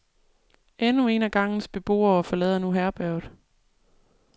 Endnu en af gangens beboere forlader nu herberget.